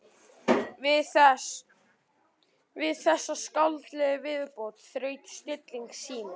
Við þessa skáldlegu viðbót þraut stilling Símonar.